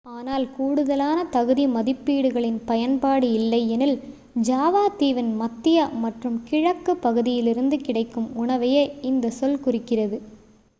ஆனால் கூடுதலான தகுதி மதிப்பீடுகளின் பயன்பாடு இல்லை எனில் ஜாவாத்தீவின் மத்திய மற்றும் கிழக்கு பகுதியிலிருந்து கிடைக்கும் உணவையே இந்த சொல் குறிக்கிறது